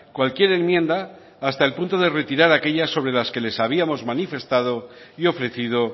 cualquier enmienda hasta el punto de retirar aquellas sobre las que les habíamos manifestado y ofrecido